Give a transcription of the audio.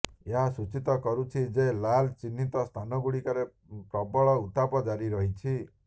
ଏହା ସୂଚିତ କରୁଛି ଯେ ଲାଲ୍ ଚିହ୍ନିତ ସ୍ଥାନଗୁଡ଼ିକରେ ପ୍ରବଳ ଉତ୍ତାପ ଜାରି ରହିଛି